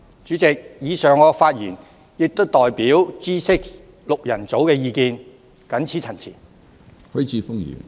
主席，我以上的發言亦代表 "G6 六人組"的意見，謹此陳辭。